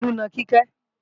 Tolú ń na Kíkẹ́